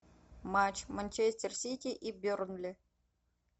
матч манчестер сити и бернли